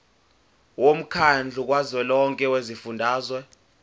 womkhandlu kazwelonke wezifundazwe